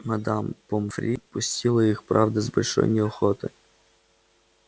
мадам помфри пустила их правда с большой неохотой